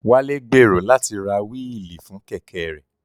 Wálé gbèrò láti ra wíìlì fún Kẹ̀kẹ́ rẹ̀